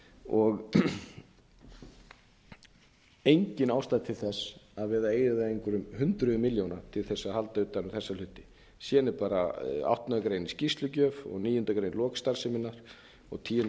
og engin ástæða til þess að vera að eyða einhverjum hundruðum milljóna til þess að halda utan um þessa hluti síðan er bara áttundu greinar um skýrslugjöf og níundu grein um lok starfseminnar og tíundu